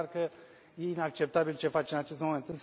E clar că e inacceptabil ce face în acest moment.